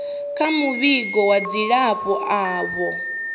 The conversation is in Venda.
kha muvhigo wa dzilafho avho